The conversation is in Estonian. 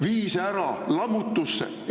Vii see ära lammutusse!